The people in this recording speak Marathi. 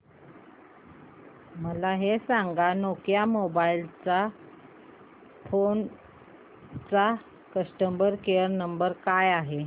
मला हे सांग नोकिया मोबाईल फोन्स चा कस्टमर केअर क्रमांक काय आहे